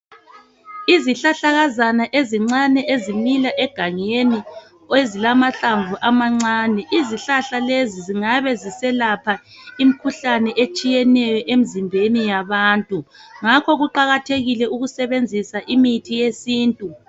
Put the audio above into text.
Izihlahlakazana ezincane ezimila egangeni ezilamahlamvu amancane. Izihlahla lezi zingabe ziselapha imkhuhlane etshiyeneyo emzimbeni yabantu. Ngakho kuqakathekile ukusebenzisa imithi yesintu.